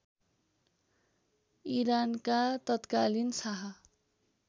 इरानका तत्कालीन शाह